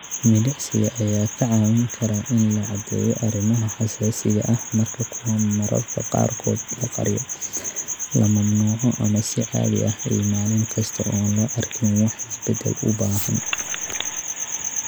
Milicsiga ayaa kaa caawin kara in la caddeeyo arrimaha xasaasiga ah marka kuwan mararka qaarkood la qariyo, la mamnuuco, ama si caadi ah iyo maalin kasta oo aan loo arkin wax isbeddel u baahan.